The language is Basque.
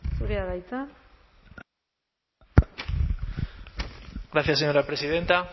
zurea da hitza gracias señora presidenta